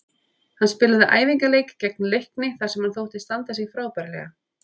Hann spilaði æfingaleik gegn Leikni þar sem hann þótti standa sig frábærlega.